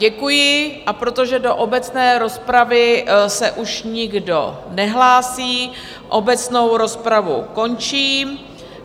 Děkuji, a protože do obecné rozpravy se už nikdo nehlásí, obecnou rozpravu končím.